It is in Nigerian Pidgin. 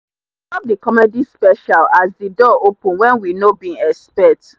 we stop the comedy special as the door open when we no bin expect.